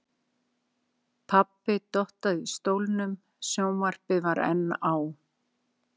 Pabbi dottaði í stólnum, sjónvarpið var enn á.